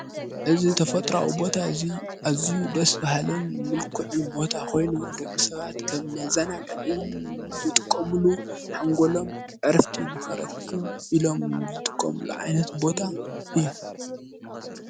እዝ ተፈጥራዊ ቦታ እዙይ እዙይ ደስ ብሃለን ምልኩዕን ቦታ ኾይኑ ደቂ ሰባት ከብ መዛና ጋእን ዘጥቆምሉ ሓንጐሎም ዕርፍቲ ንኸረክብ ኢሎም ዘጥቆምሉ ዓይነት ቦታ እዩ::